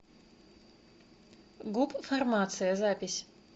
гуп фармация запись